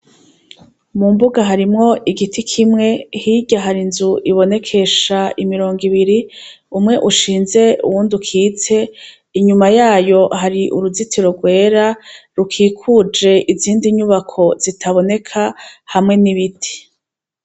Mu mbuga harimwo igiti kimwe hirya hari inzu ibonekesha imirongo ibiri umwe ushinze uwundi ukitse inyuma yayo hari uruzitiro rwera rukikuje izindi nyubako zitaboneka hamwe n'ibiti.